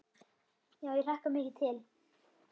Já, ég hlakka mikið til.